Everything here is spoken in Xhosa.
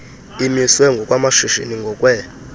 imiswe ngokwamashishini ngokwee